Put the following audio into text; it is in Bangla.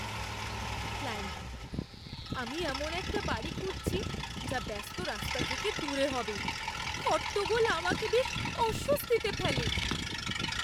ক্লায়েন্ট, "আমি এমন একটা বাড়ি খুঁজছি যা ব্যস্ত রাস্তা থেকে দূরে হবে, হট্টগোল আমাকে বেশ অস্বস্তিতে ফেলে।"